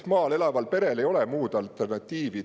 Maal elaval perel lihtsalt ei ole alternatiivi.